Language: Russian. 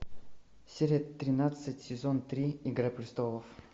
серия тринадцать сезон три игра престолов